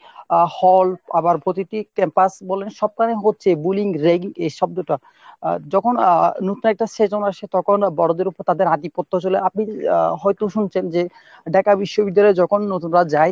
আহ hall আবার প্রতিটি campus বলেন সবখানে হচ্ছে bullying ragging এ শব্দটা আহ যখন আহ নতুন একটা session আসে তখন বড়োদের উপর তাদের আধিপত্য চলে আপনি আহ হয়তো শুনছেন যে Dhaka বিশ্ববিদ্যালয়ে যখন নতুনরা যায়।